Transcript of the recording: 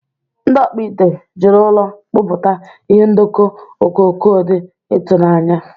Ndị ọkpụ ite jiri ụrọ kpụta ihe ndọkọ okoko dị ịtụnanya.